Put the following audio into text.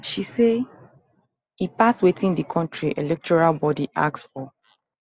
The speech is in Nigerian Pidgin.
she say e pass wetin di kontri electoral body ask for